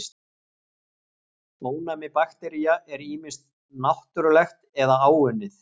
Ónæmi baktería er ýmist náttúrlegt eða áunnið.